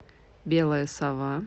белая сова